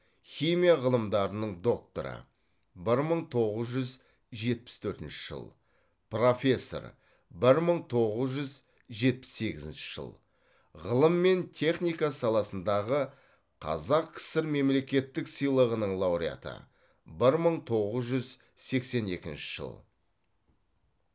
химия ғылымдарының докторы бір мың тоғыз жүз жетпіс төртінші жыл профессор бір мың тоғыз жүз жетпіс сегізінші жыл ғылым мен техника саласындағы қазақ кср мемлекеттік сыйлығының лауреаты бір мың тоғыз жүз сексен екінші жыл